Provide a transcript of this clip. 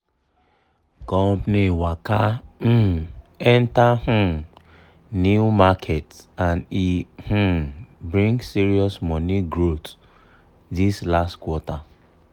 company waka um enter um new market and e um bring serious money growth this last quarter